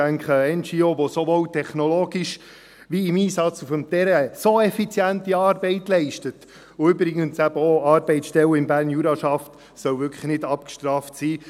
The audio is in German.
Ich denke, eine NGO, die sowohl technologisch als auch im Einsatz auf dem Terrain so effiziente Arbeit leistet – und übrigens eben auch Arbeitsstellen im Berner Jura schafft –, soll wirklich nicht abgestraft werden.